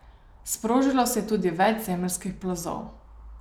Sprožilo se je tudi več zemeljskih plazov.